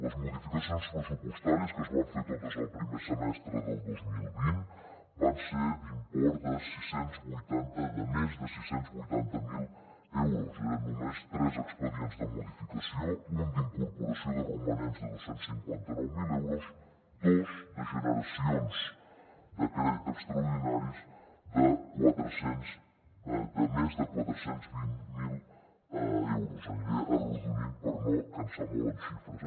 les modificacions pressupostàries que es van fer totes el primer semestre del dos mil vint van ser d’import de més de sis cents i vuitanta miler euros eren només tres expedients de modificació un d’incorporació de romanents de dos cents i cinquanta nou mil euros dos de generacions de crèdit extraordinaris de més de quatre cents i vint miler euros aniré arrodonint per no cansar molt amb xifres